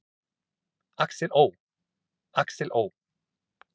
Axel Ó. Axel Ó.